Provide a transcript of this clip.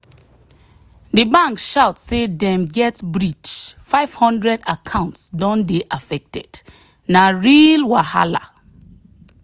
the bank shout say dem get breach 500 account don dey affected na real wahala